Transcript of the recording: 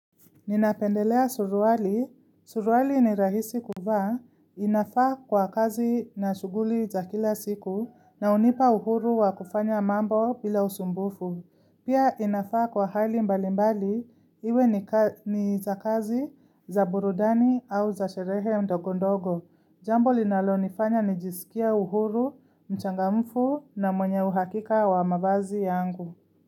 Ninapendelea suruali. Suruali ni rahisi kuvaa. Inafaa kwa kazi na shughuli za kila siku na unipa uhuru wa kufanya mambo bila usumbufu. Pia inafaa kwa hali mbali mbali iwe ni za kazi za burudani au za sherehe ndogo ndogo. Jambo linalo nifanya nijisikia uhuru, mchangamfu na mwenye uhakika wa mavazi yangu.